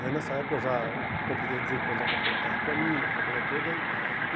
Aí nessa época eu já, comprei desde os dezoito anos, já comprei um carro para mim, aquela coisa toda. E